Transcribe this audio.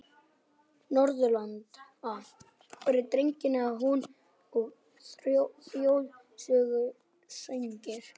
Norðurlanda voru dregnir að húni og þjóðsöngvar sungnir.